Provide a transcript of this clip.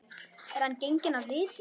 Er hann genginn af vitinu?